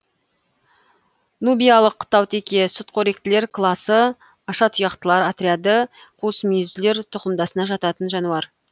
нубиялық таутеке сүтқоректілер класы ашатұяқтылар отряды қуысмүйізділер түқымдасына жататын жануар